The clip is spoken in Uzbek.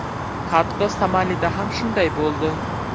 Hatto Somalida ham shunday bo‘ldi.